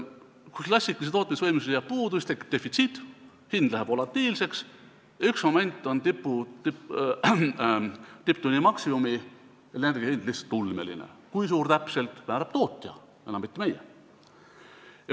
Kui klassikalisest tootmisvõimsusest jääb puudu, siis tekib defitsiit, hind läheb volatiilseks ja mingil momendil on tipptunni maksimumenergiahind lihtsalt ulmeline, kui suur täpselt, seda määrab tootja, mitte enam meie.